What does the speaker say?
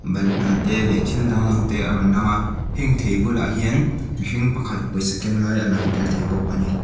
balhla te leh thil dang dang te a rawn lang a heng thei bulah hian mihring pakhat pawisa keng lai a lang tel thei bawk a ni.